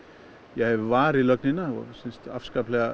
hefur varið lögnina